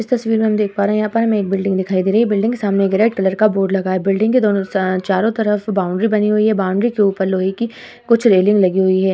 इस तस्वीर में हम देख पा रहे हैं यहाँ पर हमें एक बिल्डिंग दिखाई दे रही है। बिल्डिंग के सामने एक रेड कलर का बोर्ड लगा है। बिल्डिंग के दोनों सा चारों तरफ बाउंड्री बनी हुई है। बाउंड्री के ऊपर लोहे की कुछ रेलिंग लगी हुई है।